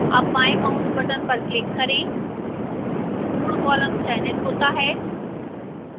अब बाएं mouse button पर click करें पूर्ण column चयनित होता है